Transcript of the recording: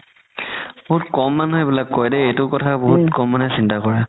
বহুত ক'ম মানুহে এইবিলাক কৰে দেই এইটো কথা বহুত ক'ম মানুহে চিন্তা ক'ৰে